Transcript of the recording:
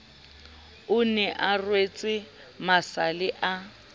ne a rwetse masale a